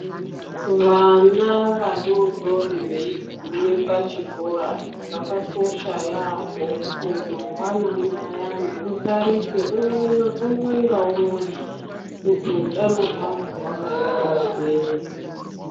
Vana vadoodori veigume pachikora zvakakosha yaambo kuti mangwanani ayani utarise umwe ngaumwe kuti utano hwake hwakaema sei.